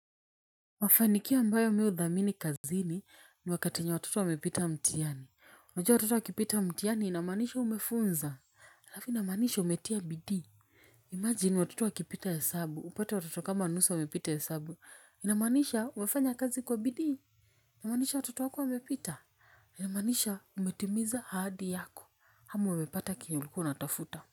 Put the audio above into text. Mafanikio ambayo mi hudhamini kazini ni wakati wenye watoto wamepita mtihani. Wajua watoto wakipita mtihani inamaanisha umefunza. Alafu inamaanisha umetia bidii. Imagine watoto wakipita hesabu. Upate watoto kama nusu wamepita hesabu. Inamanisha umefanya kazi kwa bidii. Inamaanisha watoto wako wamepita. Inamaanisha umetimiza ahadi yako. Ama umepata kenye ulikuwa unatafuta.